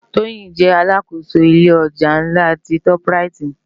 Toyin jè àlákósó ilé òjá nlá ti tòp ráyit